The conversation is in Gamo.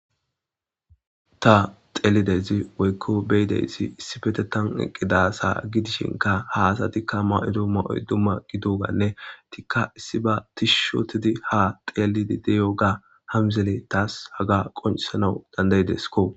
Ta xeelidezi woykko beyideyssi issifete tan eqqidasa gidishinka haasatikka ma7odo ma7oy dumma gidoganne tikka issi ba tishushotidi ha xeelidi deyo ga hamzele taas haga qoncisanau dandayidesko